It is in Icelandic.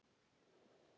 Fyrir hverja er vikan?